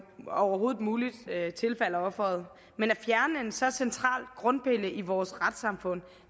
overhovedet muligt tilfalder offeret men at fjerne en så central grundpille i vores retssamfund